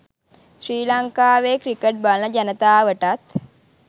ශ්‍රී ලංකාවේ ක්‍රිකට් බලන ජනතාවටත්